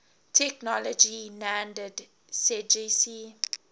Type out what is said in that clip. technology nanded sggsie